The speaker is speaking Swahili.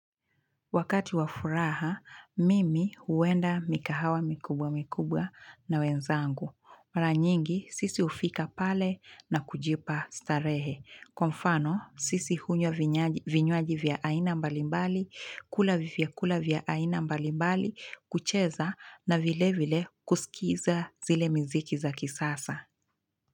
Wakati wafuraha, mimi huwenda mikahawa mikubwa mikubwa na wenzangu. Mara nyingi, sisi hufika pale na kujipa starehe. Kwa mfano, sisi hunywa vinywaji vya aina mbalimbali, kula vyakula vya aina mbalimbali, kucheza na vile vile kusikiza zile mziki za kisasa.